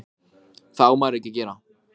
Merkilegt að eitt orð skyldi hafa slíkan kraft.